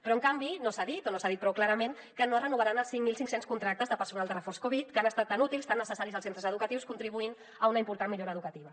però en canvi no s’ha dit o no s’ha dit prou clarament que no es renovaran els cinc mil cinc cents contractes de personal de reforç covid que han estat tan útils tan necessaris als centres educatius contribuint a una important millora educativa